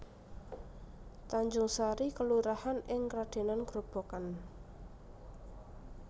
Tanjungsari kelurahan ing Kradenan Grobogan